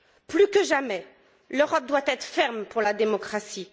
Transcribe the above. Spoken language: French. Plus que jamais, l'Europe doit être ferme pour la démocratie.